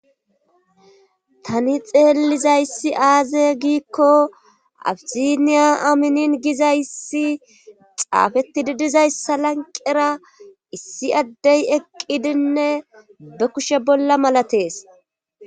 Tani xeellizayssi aaze giikko afiziniya aminin gizayssi xaafeti didizayssa lanqera issi addey eqqidinne be kushe bolla malatees.